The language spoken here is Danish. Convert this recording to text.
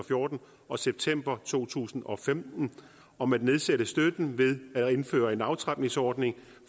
og fjorten og september to tusind og femten om at nedsætte støtten ved at indføre en aftrapningsordning